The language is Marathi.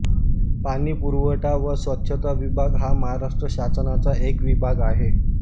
पाणी पुरवठा व स्वच्छता विभाग हा महाराष्ट्र शासनाचा एक विभाग आहे